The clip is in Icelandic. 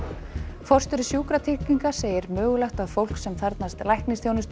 forstjóri Sjúkratrygginga segir mögulegt að fólk sem þarfnast læknisþjónustu